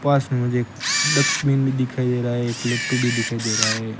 पास में मुझे एक डस्टबिन भी दिखाई दे रहा है एक लट्टू भी दिखाई दे रहा है।